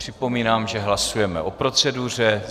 Připomínám, že hlasujeme o proceduře.